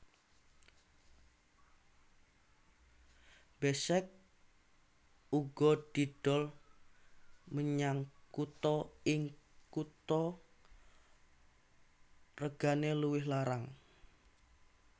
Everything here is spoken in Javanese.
Besek uga didol menyang kutha ing kutha regane luwih larang